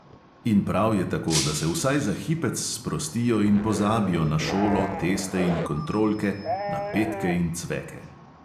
In prav je tako, da se vsaj za hipec sprostijo in pozabijo na šolo, teste in kontrolke, na petke in cveke.